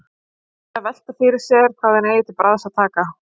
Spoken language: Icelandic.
Hún fer að velta fyrir sér hvað hún eigi til bragðs að taka.